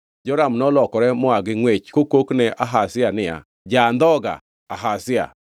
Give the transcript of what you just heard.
Joram nolokore moa gi ngʼwech kokok ne Ahazia niya, “Ja-andhoga Ahazia!”